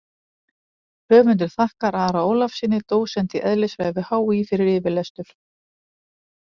Höfundur þakkar Ara Ólafssyni, dósent í eðlisfræði við HÍ, fyrir yfirlestur.